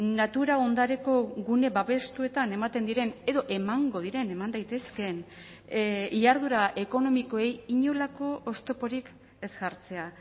natura ondareko gune babestuetan ematen diren edo emango diren eman daitezkeen jarduera ekonomikoei inolako oztoporik ez jartzea